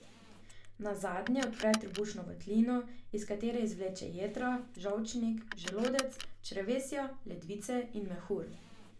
Nazadnje odpre trebušno votlino, iz katere izvleče jetra, žolčnik, želodec, črevesje, ledvice in mehur.